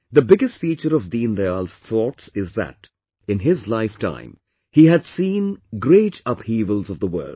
The biggest feature of Deendayal ji's thoughts is that in his lifetime, he had seen the great upheavals of the world